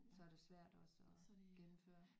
Så er det svært også at gennemføre